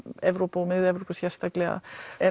Evrópu og Mið Evrópu sérstaklega